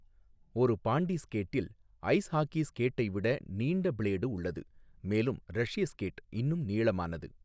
ஒரு பாண்டி ஸ்கேட்டில் ice hockey ஸ்கேட்டை விட நீண்ட பிளேடு உள்ளது, மேலும் 'ரஷ்ய ஸ்கேட்' இன்னும் நீளமானது.